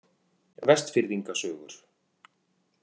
Vestfirðinga sögur.